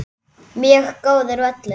Mjög góður völlur.